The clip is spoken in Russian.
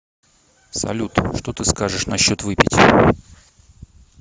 салют что ты скажешь насчет выпить